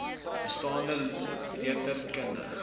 bestaande letter kundige